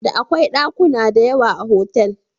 Da akwai ɗakuna diyawa a hotel.